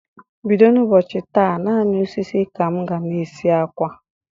Bido n' ụbọchị taa, naanị osisi ka m ga-na esi akwa.